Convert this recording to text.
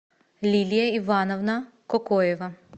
лилия ивановна кокоева